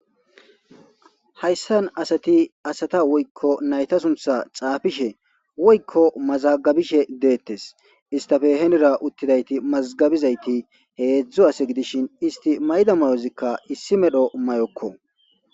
Hayisan asati asata woyiko nayita suntha xapishe woyiko masagabishe de'etes isitape hinira utizays masgabishe hezu ase gidishin isti mayiza ma'ozi issi medho mayoko